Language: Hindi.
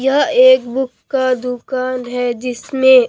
यह एक बुक का दुकान है जिसमें--